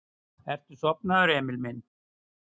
Ertu sofnaður, Emil minn?